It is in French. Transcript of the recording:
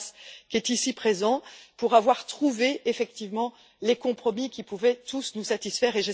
Ruas, ici présent, d'avoir trouvé effectivement les compromis qui pouvaient tous nous satisfaire.